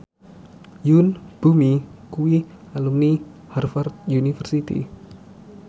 Yoon Bomi kuwi alumni Harvard university